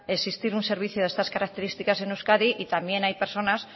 existir un servicio de estas características en euskadi y también hay personas